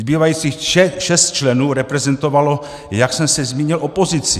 Zbývajících šest členů reprezentovalo, jak jsem se zmínil, opozici.